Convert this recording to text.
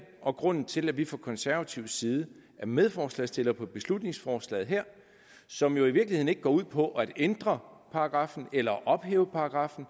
og grunden til at vi fra konservatives side er medforslagsstillere på beslutningsforslaget som jo i virkeligheden ikke går ud på at ændre paragraffen eller ophæve paragraffen